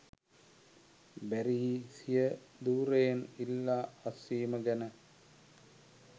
Barry සිය ධුරයෙන් ඉල්ලා අස්වීම ගැන